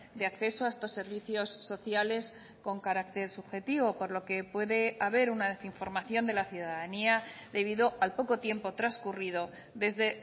de acceso a estos servicios sociales con carácter subjetivo por lo que puede haber una desinformación de la ciudadanía debido al poco tiempo transcurrido desde